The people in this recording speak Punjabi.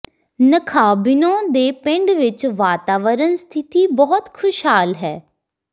ਨਖਾਬਿਨੋ ਦੇ ਪਿੰਡ ਵਿਚ ਵਾਤਾਵਰਣ ਸਥਿਤੀ ਬਹੁਤ ਖੁਸ਼ਹਾਲ ਹੈ